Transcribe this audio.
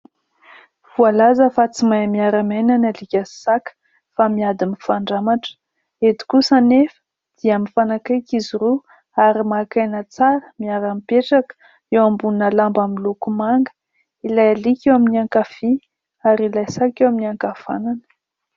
Voalaza fa tsy mahay miara-miaina ny alika sy saka fa miady mifandramatra, eto kosa anefa dia mifanakaiky izy roa ary maka aina tsara miara-mipetraka eo ambonina lamba miloko manga ; ilay alika eo amin'ny ankavia ary ilay saka eo amin'ny ankavanana.